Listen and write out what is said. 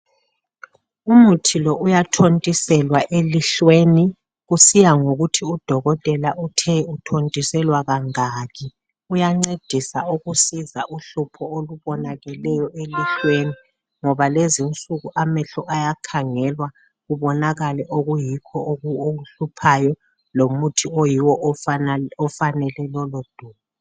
umuthi lo uyathontiselwa elihlweni kusiya ngokuthi udokotela uthe uthontiselwa kangaki uyancedisa ukusiza ukubona uhlupho olubonakaleyo elihlweni ngoba lezi insuku amehlo ayakhangelwa kubonakale okuyikho okuhluphayo lomuthi oyiwo ofanele lolu dubo